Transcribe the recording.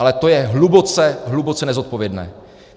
Ale to je hluboce, hluboce nezodpovědné.